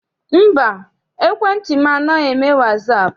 Mba, ekwentị m anaghị eme wasaapụ.